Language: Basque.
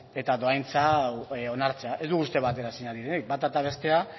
eta dohaintza hau onartzea ez dugu uste bateraezinak direnik bata eta bestea